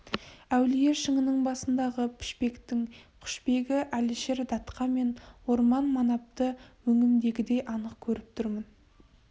әулие шыңының басындағы пішпектің құшбегі әлішер датқа мен орман манапты өңімдегідей анық көріп тұрмын